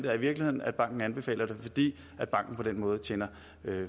er i virkeligheden at banken anbefaler det fordi banken på den måde tjener